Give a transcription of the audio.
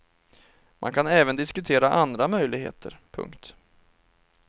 Man kan även diskutera andra möjligheter. punkt